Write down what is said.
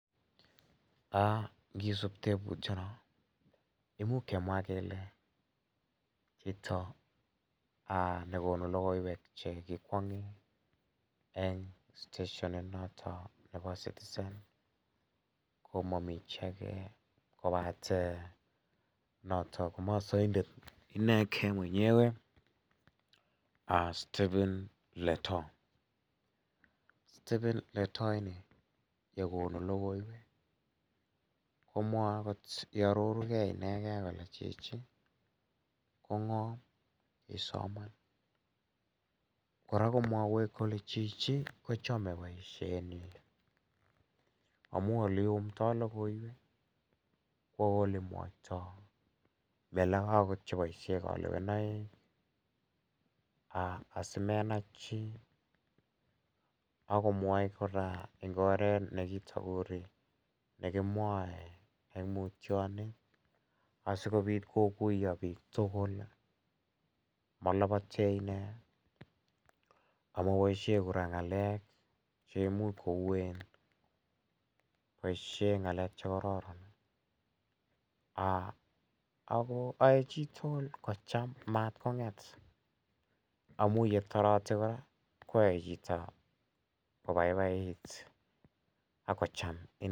Ngisup teputiano, imuch kemwa kele chito ne konu logoiwek che kikwang'e eng' steshonit notok nepo Citizen ko ma mi chi age kopate notok masaindet inegei mwenyewe Stephen Letoo. Stephen Letoo ini ye konu logoiwek komwae akot iarorugei inegei kole chichi ko ng'o?, kisoman. Kora ko mwaiwech kole chichi kochame poishetnyi amu ole iumdai logoiwek ak ole mwaitai , mi alake akot che paishe kalewenaik ,asimenai chi ak komwae kora eng' oret ne kitaguri, ne ki mwae eng' mutyonet asikopit koguya pik tugul. Ma lapate ine ,ama mapaishe kora ng'alek che imuch ko uen, poishe ng'alek che kararan ako yae chito kocham, matkong'et amu ye tareti koyae chito kopaipait ak kocham inendet.